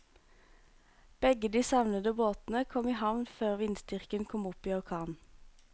Begge de savnede båtene kom i havn før vindstyrken kom opp i orkan.